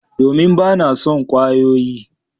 Domin ba na son kwayoyi